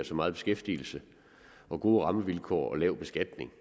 så meget beskæftigelse gode rammevilkår og lav beskatning